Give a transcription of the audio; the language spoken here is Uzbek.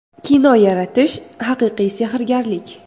Kino yaratish haqiqiy sehrgarlik.